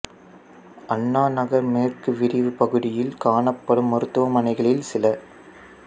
அண்ணா நகர் மேற்கு விரிவு பகுதியில் காணப்படும் மருத்துவமனைகளில் சில